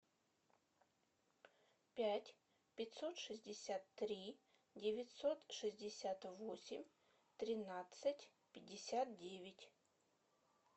пять пятьсот шестьдесят три девятьсот шестьдесят восемь тринадцать пятьдесят девять